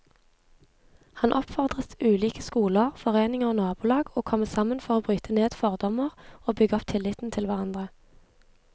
Han oppfordret ulike skoler, foreninger og nabolag å komme sammen for å bryte ned fordommer og bygge opp tilliten til hverandre.